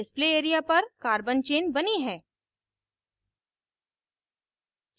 display area पर carbon chain बनी है